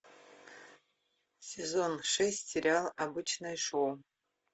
сезон шесть сериал обычное шоу